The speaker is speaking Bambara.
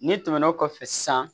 Ni tɛmɛnen kɔfɛ sisan